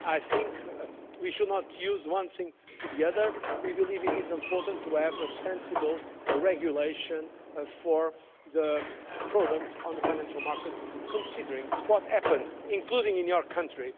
I think we should not use one thing or the other. We believe it is important to have sensible regulations for products on the financial markets considering what happened, including in your country.